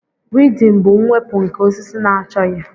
weedin bụ mwepụ nke osisi na-achọghị